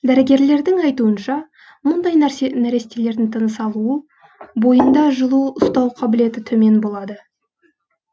дәрігерлердің айтуынша мұндай нәрестелердің тыныс алу бойында жылу ұстау қабілеті төмен болады